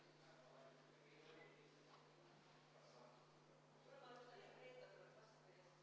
Head ametikaaslased, kas teil on hääletamise korraldamise kohta proteste?